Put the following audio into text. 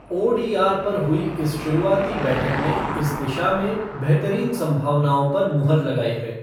ODR पर हुई इस शुरुआती बैठक ने इस दिशा में बेहतरीन संभावनाओं पर मुहर लगाई है।